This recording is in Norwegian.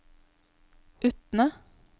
Utne